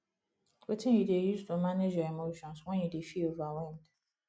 wetin you dey use to manage your emotions when you dey feel overwhelmed